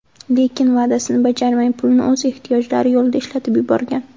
Lekin va’dasini bajarmay, pulni o‘z ehtiyojlari yo‘lida ishlatib yuborgan.